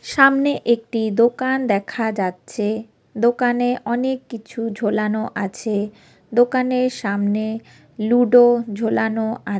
সামনে একটি দোকান দেখা যাচ্ছে। দোকানে অনেক কিছু ঝোলানো আছে । দোকানের সামনে লুডো ঝোলানো আছে।